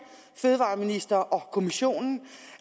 fødevareminister og kommissionen